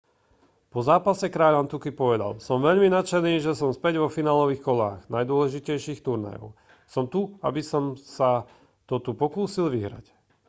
po zápase kráľ antuky povedal som veľmi nadšený že som späť vo finálových kolách najdôležitejších turnajov som tu aby som sa to tu pokúsil vyhrať